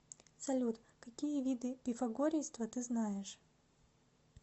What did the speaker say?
салют какие виды пифагорейство ты знаешь